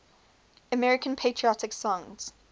american patriotic songs